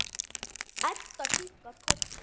Edda kinkar kolli.